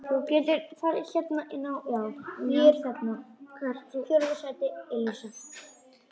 Hann sagði ekki meira.